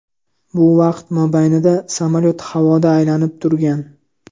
Bu vaqt mobaynida samolyot havoda aylanib turgan.